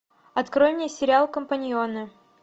открой мне сериал компаньоны